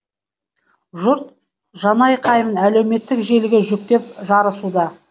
жұрт жанайқайын әлеуметтік желіге жүктеп жарысуда